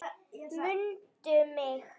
MUNDU MIG!